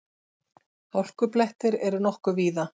Hálkublettir eru nokkuð víða